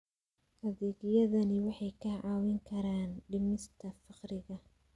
Adeegyadani waxay kaa caawin karaan dhimista faqriga.